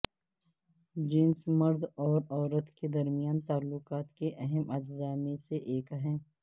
جنس مرد اور عورت کے درمیان تعلقات کے اہم اجزاء میں سے ایک ہے